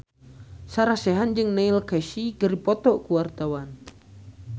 Sarah Sechan jeung Neil Casey keur dipoto ku wartawan